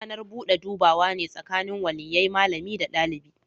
Ranar bude dubawa ne tsakanin waliyyai, malami da dalibi.